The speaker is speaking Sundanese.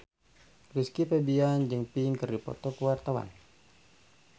Rizky Febian jeung Pink keur dipoto ku wartawan